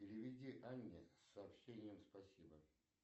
переведи анне с сообщением спасибо